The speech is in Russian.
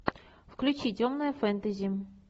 включи темное фэнтези